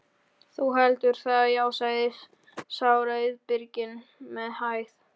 Þú heldur það, já, sagði sá rauðbirkni með hægð.